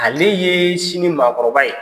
Ale ye sini maakɔrɔba ye.